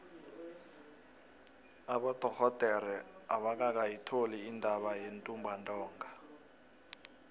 abodorhodere abakayitholi intatha yentumbantonga